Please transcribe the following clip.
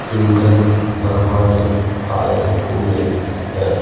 ईंधन भरवाने आए हुए हैं।